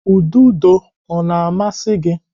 Ududo ọ na-amasị gị?